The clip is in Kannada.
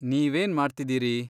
ನೀವೇನ್ ಮಾಡ್ತಿದೀರಿ?